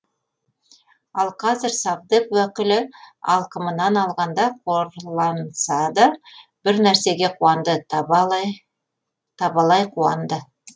ал қазір совдеп уәкілі алқымынан алғанда қорланса да бір нәрсеге қуанды табалай қуанды